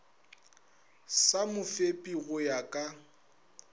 sa mofepi go ya ka